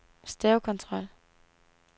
stavekontrol